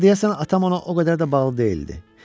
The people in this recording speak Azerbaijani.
Amma deyəsən atam ona o qədər də bağlı deyildi.